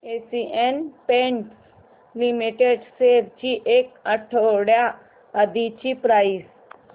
Asian Paints Limited shares ची एक आठवड्या आधीची प्राइस